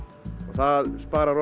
það sparar